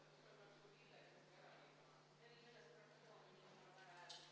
Kuulutan hääletamise Riigikogu aseesimeeste valimisel lõppenuks.